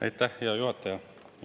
Aitäh, hea juhataja!